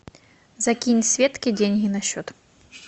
закинь светке деньги на счет